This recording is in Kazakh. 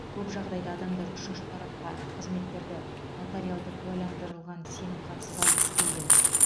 көп жағдайда адамдар үшінші тарапқа қызметтерді нотариалды куәландырылған сенімхатсыз алғысы келген